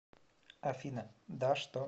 афина да что